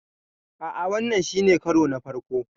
A'a, wannan shi ne karona na farko.